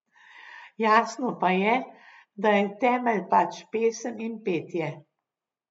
Jasno pa je, da je temelj pač pesem in petje.